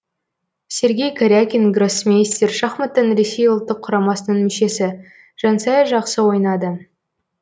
сергей карякин гроссмейстер шахматтан ресей ұлттық құрамасының мүшесі жансая жақсы ойнады